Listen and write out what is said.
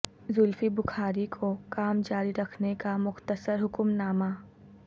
زلفی بخاری کو کام جاری رکھنے کا مختصر حکم نامہ